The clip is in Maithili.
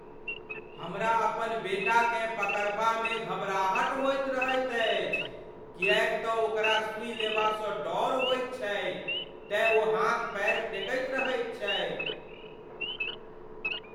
हमरा अपन बेटाकेँ पकड़बामे घबराहटि होइत रहैत अछि किएक तँ ओकरा सुई लेबासँ डर होइत छैक तेँ ओ हाथ पयर फेकैत रहैत छैक।